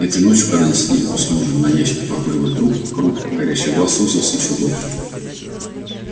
этой ночью когда они сидели после ужина на ящике покуривая трубки круг горящих глаз сузился ещё больше